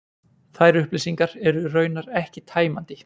Þær upplýsingar eru raunar ekki tæmandi